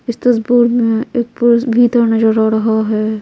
इस तस्वीर में एक पुरुष भीतर नजर आ रहा है।